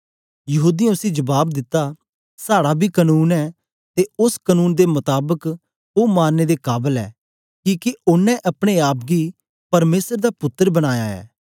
यहूदीयें उसी जबाब दिता साड़ा बी कनून ऐ ते ओस कनून दे मताबक ओ मारने दे काबल ऐ किके ओनें अपने आप गी परमेसर दा पुत्तर बनाया ऐ